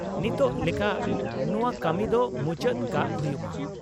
ᱱᱤᱛᱚᱜ ᱞᱮᱠᱟ ᱱᱚᱶᱟ ᱠᱟᱹᱢᱤ ᱫᱚ ᱢᱩᱪᱟᱹᱫ ᱠᱟᱜ ᱦᱩᱭᱩᱜ ᱢᱟ ᱾